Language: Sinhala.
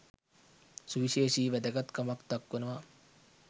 සුවිශේෂී වැදගත් කමක් දක්වනවා.